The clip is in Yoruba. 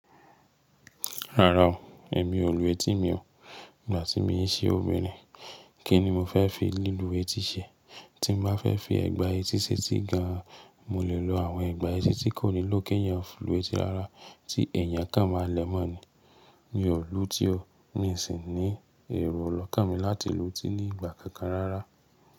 Rárá o, èmi ò lù etí mi o. Ìgbà tí mo ń se obìnrin, kí ni mo fẹ́ fi lílu etí ṣe? Tí mo bá fẹ́ fi ẹgba etí ṣe tí gan an, mo lè lo àwọn ẹgba etí tí kò ní ló ké yẹn fún lù etí rárá tí èèyàn kàn máa lẹ́mọ́ ni. Mi ò lù ú tí o, mi sì ní èrò ọlọ́kàn mi láti lù ú tí ní ìgbà kankan rárá.